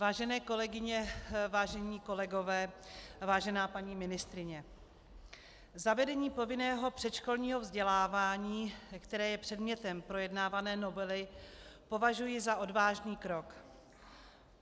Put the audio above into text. Vážené kolegyně, vážení kolegové, vážená paní ministryně, zavedení povinného předškolního vzdělávání, které je předmětem projednávané novely, považuji za odvážný krok.